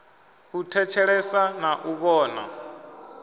u thetshelesa na u vhona